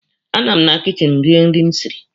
A nụ m na kichin rie nri m siri.